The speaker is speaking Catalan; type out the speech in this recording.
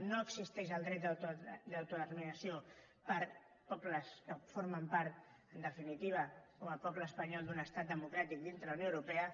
no existeix el dret d’autodeterminació per a pobles que formen part en definitiva com el poble espanyol d’un estat democràtic dintre de la unió europea